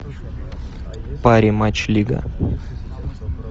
пари матч лига